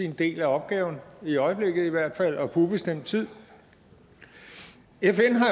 sin del af opgaven i øjeblikket i hvert fald og på ubestemt tid fn har